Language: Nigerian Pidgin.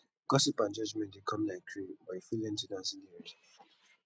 gossip and judgement dey come like rain but you fit learn to dance in di rain